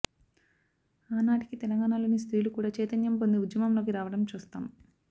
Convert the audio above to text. ఆనాటికి తెలంగాణలోని స్త్రీలు కూడా చైతన్యం పొంది ఉద్యమంలోకి రావడం చూస్తాం